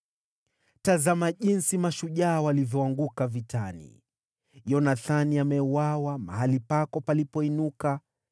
“Tazama jinsi mashujaa walivyoanguka vitani! Yonathani ameuawa mahali pako palipoinuka.